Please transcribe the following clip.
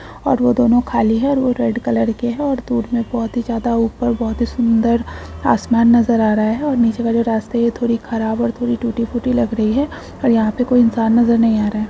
और वो दोनो खाली है और वह रेड कलर के है और दूर में बहुत ही ज्यादा ऊपर बहुत ही सुंदर आसमान नजर आ रहा है और नीचे का जो रास्ता ये थोड़ी खराब और थोड़ी टूटी-फूटी लग रही है और यहाँ पर कोई इंसान नजर नही आ रहा है।